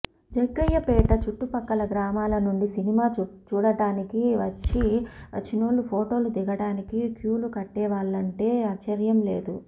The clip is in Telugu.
జగ్గయ్యపేట చుట్టుపక్కల గ్రామాల నుండి సినిమా చూడటానికి వచ్చినోళ్ళు ఫోటోలు దిగడానికి క్యూలు కట్టేవాళ్ళంటే ఆశ్చర్యంలేదు